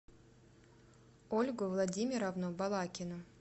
ольгу владимировну балакину